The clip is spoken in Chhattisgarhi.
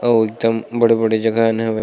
और एकदम बड़े बड़े जगह हवे. --